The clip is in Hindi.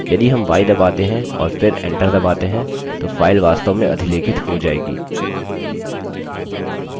यदि हम y दबाते हैं और फिर enter दबाते हैं तो file वास्तव में अधिलेखित हो जायेगी